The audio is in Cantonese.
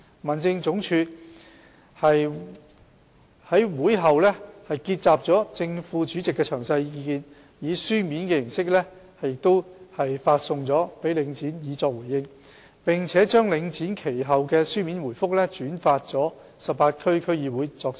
民政總署於會後結集了正副主席的詳細意見，以書面形式發送給領展以作回應，並把領展其後的書面回覆轉發給18區區議會作參考。